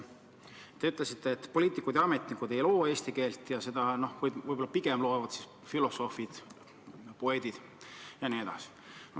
Te ütlesite, et poliitikud ja ametnikud ei loo eesti keelt, seda võib-olla pigem loovad filosoofid, poeedid jne.